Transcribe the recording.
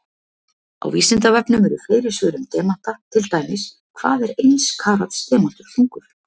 Á Vísindavefnum eru fleiri svör um demanta, til dæmis: Hvað er eins karats demantur þungur?